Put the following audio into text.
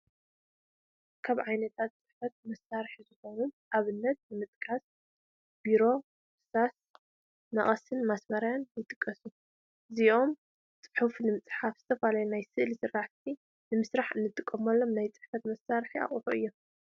ካብ ዓይነታት ፅሕፈት መሳርሒ ዝኾኑ ኣብነታት ንምጥቃስ፣ ቢሮ፣ እርሳስ፣ መቐስን ማስመርያን ይጥቀሱ፡፡ እዚኦም ፁሑፍ ንምፅሓፍን ዝተፈላለዩ ናይ ስእሊ ስራሕቲ ንምስራሕ እንጥቀመሎም ናይ ፅሕፈት መሳርሒ ኣቑሑት እዮም፡፡